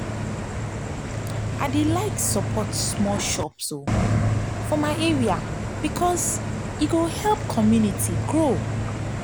i like support small shops for my area because e dey help the community grow.